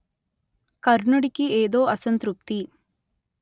కర్ణుడికి ఏదో అసంతృప్తి